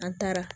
An taara